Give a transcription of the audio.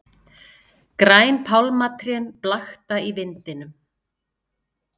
Græn pálmatrén blakta í vindinum.